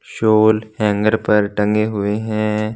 Soul hanger पर टंगे हुए हैं।